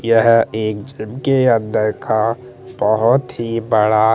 यह एक के अंदर का बहुत ही बड़ा--